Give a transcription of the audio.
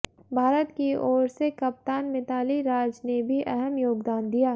भारत की ओर से कप्तान मिताली राज ने भी अहम योगदान दिया